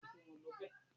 Rí i pé o gbá bọ́ọ̀lù lọ́la.